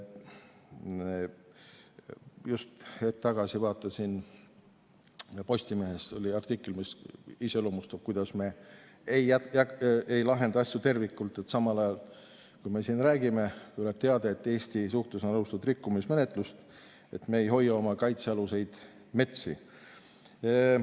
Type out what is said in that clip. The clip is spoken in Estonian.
Just hetk tagasi vaatasin Postimehes artiklit, mis iseloomustab seda, kuidas me ei lahenda asju terviklikult, sest samal ajal, kui me siin räägime, tuleb teade, et Eesti suhtes on algatatud rikkumismenetlus, et me ei hoia oma kaitsealuseid metsi.